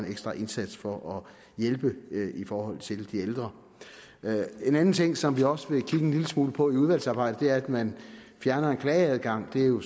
ekstra indsats for at hjælpe i forhold til de ældre en anden ting som vi også vil kigge en lille smule på i udvalgsarbejdet er at man fjerner en klageadgang det er jo